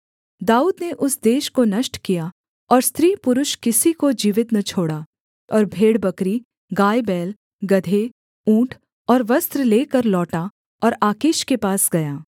दाऊद ने उस देश को नष्ट किया और स्त्री पुरुष किसी को जीवित न छोड़ा और भेड़बकरी गायबैल गदहे ऊँट और वस्त्र लेकर लौटा और आकीश के पास गया